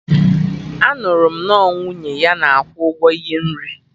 Anụrụ m na ọ nwunye ya na akwụ ụgwọ ihe nri